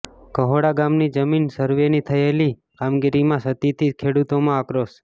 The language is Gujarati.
કહોડા ગામની જમીન સરવેની થયેલી કામગીરીમાં ક્ષતિથી ખેડૂતોમાં આક્રોશ